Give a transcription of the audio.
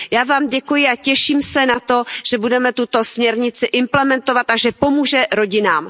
Já vám děkuji a těším se na to, že budeme tuto směrnici implementovat a že pomůže rodinám.